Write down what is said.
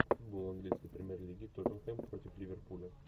футбол английской премьер лиги тоттенхэм против ливерпуля